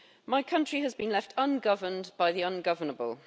My country has been left ungoverned by the ungovernable.